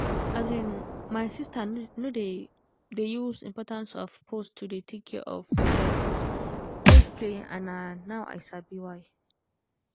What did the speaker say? as in my sister no dey dey use importance of pause to dey take care of yourself take play and na now i sabi why